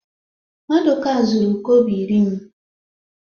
Maduka zuru kobo iri m